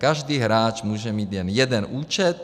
Každý hráč může mít jen jeden účet.